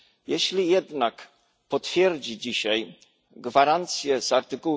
Jeśli jednak potwierdzi dzisiaj gwarancje z art.